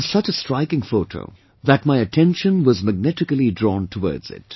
It was such a striking photo that my attention was magnetically drawn towards